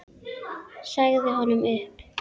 Sagði honum upp.